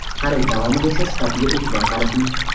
Xarid davomida esa sifatiga e’tibor qarating.